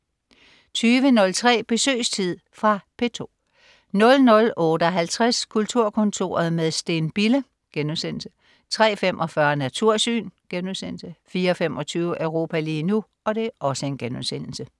20.03 Besøgstid. Fra P2 00.58 Kulturkontoret med Steen Bille* 03.45 Natursyn* 04.25 Europa lige nu*